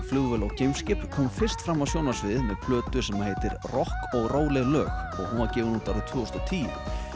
flugvél og geimskip kom fyrst fram á sjónarsviðið með plötu sem heitir rokk og róleg lög og hún var gefin út árið tvö þúsund og tíu